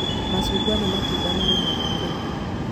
Macungwa nĩ matunda marĩmagwo Kenya